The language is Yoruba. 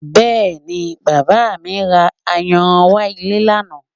Bẹ́ẹ̀ni, Bàbá mi ra ayanran wá ilé lánàá